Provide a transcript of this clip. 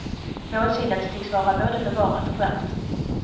Målsinnet tycks vara både bevarat och skärpt.